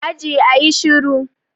Aji, a yi shiru.